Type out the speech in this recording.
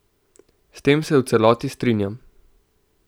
S tem se v celoti strinjam.